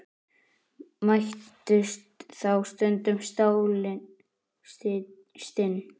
Mættust þá stundum stálin stinn.